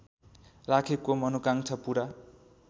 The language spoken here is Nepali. राखेको मनोकांक्षा पूरा